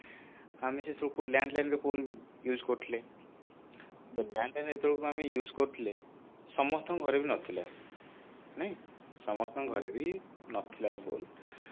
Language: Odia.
ଆମେ ସେତେବେଳକୁ landline phone use କରୁଥିଲେ ତ landline ଯେତେବେଳକୁ ଆମେ use କରୁଥିଲେ ସମସ୍ତଙ୍କ ଘରେ ବି ନଥିଲା ନାଇଁ ସମସ୍ତଙ୍କ ଘରେ ବି ନଥିଲା ଏଇ phone